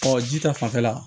ji ta fanfɛla